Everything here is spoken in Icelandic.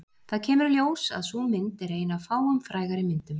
Það kemur í ljós að sú mynd er ein af fáum frægari myndum